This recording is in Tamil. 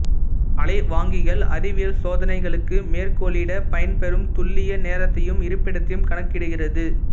அலைவாங்கிகள் அறிவியல் சோதனைக்களுக்கு மேற்கோளிடப் பயன்பெறும் துல்லிய நேரத்தையும் இருப்பிடத்தையும் கணக்கிடுகிறது